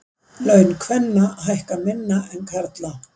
Laun kvenna hækka minna en karla